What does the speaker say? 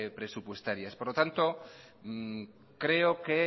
presupuestarias por lo tanto creo que